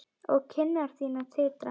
Og kinnar þínar titra.